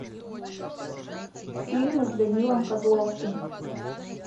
фильмы с данилом козловским